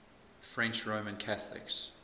french roman catholics